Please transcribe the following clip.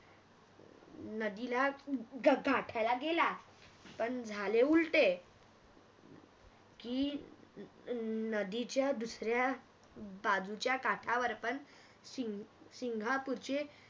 नदीला गाठायला गेला पण झाले उलटे की अह नदीच्या दुसऱ्या बाजूच्या काठावर पण सिंग सिंगापुरची